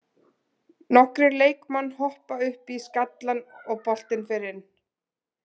Nokkrir leikmann hoppa upp í skallann og boltinn fer inn.